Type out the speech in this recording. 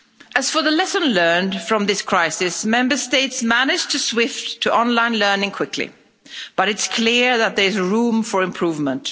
As for the lesson learned from this crisis, Member States managed to switch to online learning quickly, but it's clear that there is room for improvement.